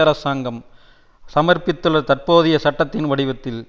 அரசாங்கம் சமர்ப்பித்துள்ள தற்போதைய சட்டத்தின் வடிவத்தில்